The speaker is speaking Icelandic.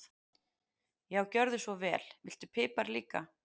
Já, gjörðu svo vel. Viltu pipar líka?